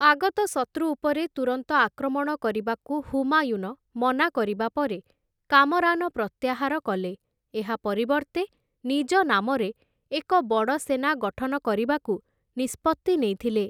ଆଗତ ଶତ୍ରୁ ଉପରେ ତୁରନ୍ତ ଆକ୍ରମଣ କରିବାକୁ ହୁମାୟୁନ ମନା କରିବା ପରେ କାମରାନ ପ୍ରତ୍ୟାହାର କଲେ, ଏହା ପରିବର୍ତ୍ତେ ନିଜ ନାମରେ ଏକ ବଡ଼ ସେନା ଗଠନ କରିବାକୁ ନିଷ୍ପତ୍ତି ନେଇଥିଲେ ।